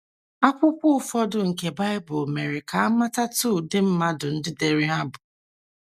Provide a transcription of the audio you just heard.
Akwụkwọ ụfọdụ nke Baịbụl mere ka a matatụ ụdị mmadụ ndị dere ha bụ.